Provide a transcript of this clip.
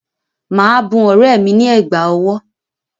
Màá bun ọ̀rẹ́ mi ní ẹ̀gbà ọwọ́